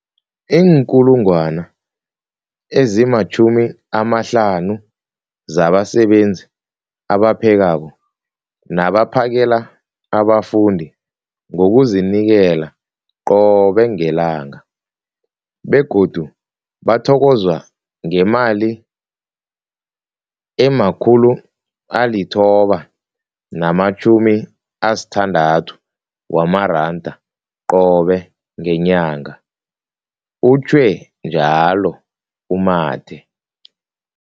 50 000 zabasebenzi abaphekako nabaphakela abafundi ngokuzinikela qobe ngelanga, begodu bathokozwa ngemali ema-960 wamaranda qobe ngenyanga, utjhwe njalo u-Mathe.